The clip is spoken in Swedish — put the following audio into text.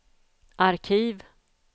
arkiv